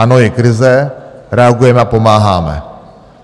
Ano, je krize, reagujeme a pomáháme.